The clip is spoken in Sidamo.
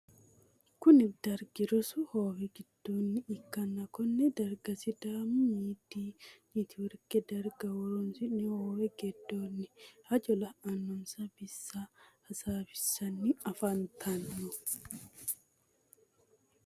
Kunni dargi rosu hoowe gidoonni ikanna konne darga sidaamu miidi neetiworke daga horoso hoowe gidonni hajo la'anonsa bissa hasaawisanni afantano.